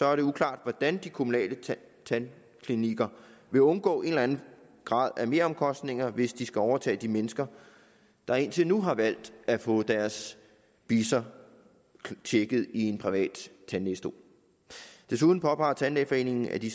er det uklart hvordan de kommunale tandklinikker vil undgå en eller anden grad af meromkostninger hvis de skal overtage de mennesker der indtil nu har valgt at få deres bisser tjekket i en privat tandlægestol desuden påpeger tandlægeforeningen at de